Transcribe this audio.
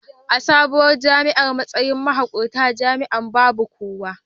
A sabuwar jami'ar, matsayin mahuƙuntar jami'an babu kowa.